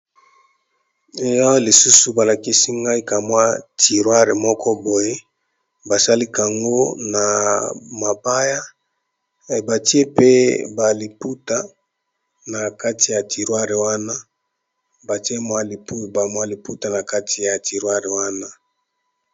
Awa lisusu balakisi ngai kamwa tiroire moko boye basalikango na mabaya. Batie pe baliputa na kati ya tiroire wana batie mwaibamwaliputa na kati ya tiroire wana.